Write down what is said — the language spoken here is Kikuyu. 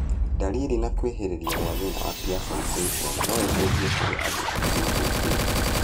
Ndariri na kwĩhĩrĩria gwa thĩna wa Pierson syndrome no icenjie kũrĩ andũ arĩa mahutĩtio